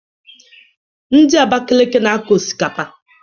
Ndị Abakaliki na-akọ osikapa